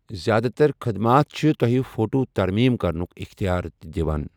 زِیٛادٕ تر خٔدمات چھِ تۄہہِ فوٹو ترمیم کرنُکھ اختیار تہِ دِوان۔